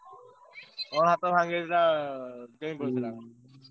ହାତ ଭାଙ୍ଗି ଯାଇଥିଲା ଉଁ ।